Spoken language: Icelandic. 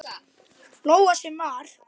Lóa: Sem var?